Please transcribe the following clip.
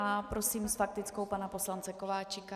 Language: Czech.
A prosím s faktickou pana poslance Kováčika.